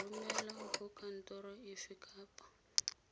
romelwa go kantoro efe kapa